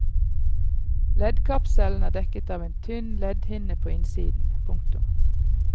Leddkapselen er dekket av en tynn leddhinne på innsiden. punktum